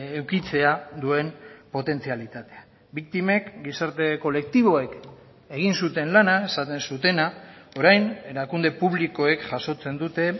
edukitzea duen potentzialitatea biktimek gizarte kolektiboek egin zuten lana esaten zutena orain erakunde publikoek jasotzen dute